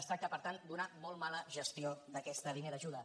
es tracta per tant d’una molt mala gestió d’aquesta línia d’ajuda